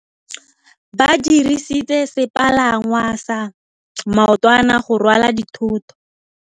Ba dirisitse sepalangwasa maotwana go rwala dithôtô.